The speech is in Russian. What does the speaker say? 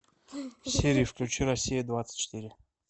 сири включи россия двадцать четыре